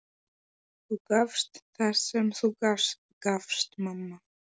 Þú gafst það sem þú gast, mamma.